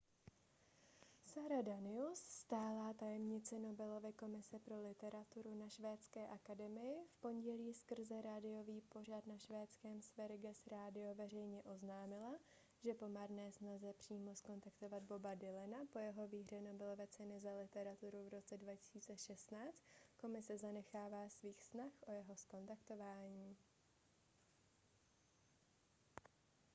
sara danius stálá tajemnice nobelovy komise pro literaturu na švédské akademii v pondělí skrze rádiový pořad na švédském sveriges radio veřejně oznámila že po marné snaze přímo zkontaktovat boba dylana po jeho výhře nobelovy ceny za literaturu v roce 2016 komise zanechává svých snah o jeho zkontaktování